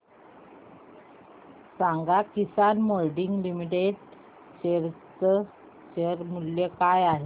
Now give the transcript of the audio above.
सांगा Kisan moulding limited चे share मूल्य काय आहे